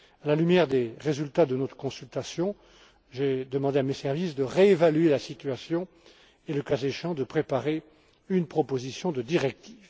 À la lumière des résultats de notre consultation, je vais demander à mes services de réévaluer la situation et, le cas échéant, de préparer une proposition de directive.